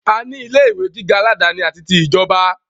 A ní ilé ìwé gíga aládàáni àti ti ìjọba.